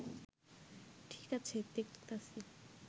ঠিক আছে দেখতাছি